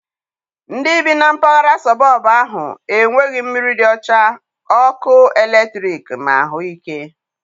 Ndị bi na mpaghara sọbọb ahụ enweghị mmiri dị ọcha, ọkụ eletrik na ahụike.